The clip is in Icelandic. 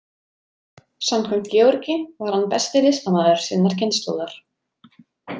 Samkvæmt Georgi var hann besti listamaður sinnar kynslóðar.